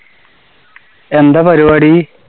എന്താ പരുപാടി?